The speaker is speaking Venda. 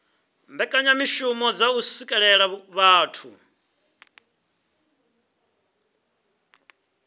mbekanyamishumo dza u swikelela vhathu